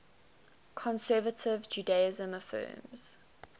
conservative judaism affirms